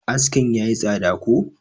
askin ya yi tsada ko?